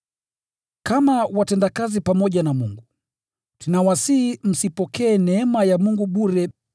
Kama watendakazi pamoja na Mungu, tunawasihi msipokee neema ya Mungu bure.